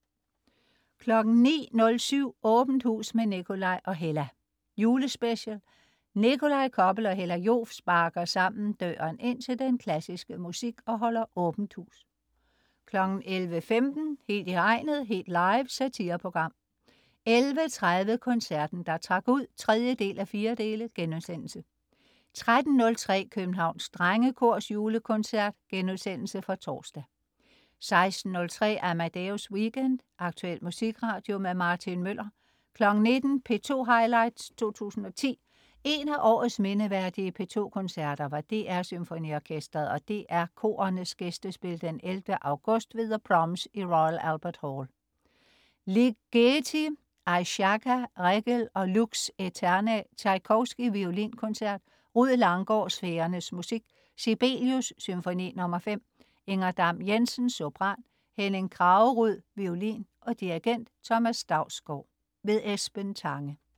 09.07 Åbent hus med Nikolaj og Hella. Julespecial. Nikolaj Koppel og Hella Joof sparker sammen døren ind til den klassiske musik og holder Åbent hus 11.15 Helt I hegnet. Helt live. Satireprogram 11.30 Koncerten der trak ud 3:4* 13.03 Københavns Drengekors Julekoncert.* Genudsendelse fra torsdag 16.03 Amadeus Weekend. Aktuel musikradio. Martin Møller 19.00 P2 highlights 2010. En af årets mindeværdige P2 Koncerter var DR SymfoniOrkestret og DR Korenes gæstespil 11. august ved The Proms i Royal Albert Hall, London. Ligeti: Ejszaka, Reggel og Lux aeterna. Tjajkovskij: Violinkoncert. Rued Langgaard: Sfærernes musik. Sibelius: Symfoni nr. 5. Inger Dam-Jensen, sopran. Henning Kraggerud, violin. Dirigent: Thomas Dausgaard. Esben Tange